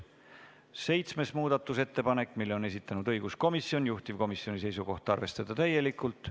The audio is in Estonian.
Seitsmenda muudatusettepaneku on samuti esitanud õiguskomisjon, juhtivkomisjoni seisukoht on arvestada seda täielikult.